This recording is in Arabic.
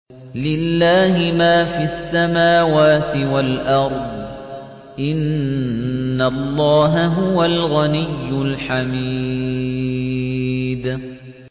لِلَّهِ مَا فِي السَّمَاوَاتِ وَالْأَرْضِ ۚ إِنَّ اللَّهَ هُوَ الْغَنِيُّ الْحَمِيدُ